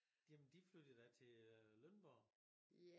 Jamen de flyttede da til øh Lønborg